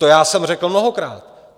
To já jsem řekl mnohokrát.